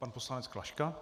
Pan poslanec Klaška.